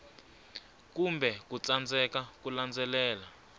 kumbe ku tsandzeka ku landzelela